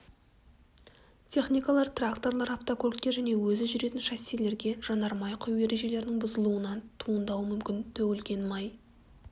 техникалар тракторлар автокөліктер және өзі жүретін шассилерге жанармай құю ережелерінің бұзылуынан туындауы мүмкін төгілген май